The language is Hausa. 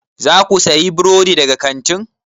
Za ku sayi burodi daga kantin?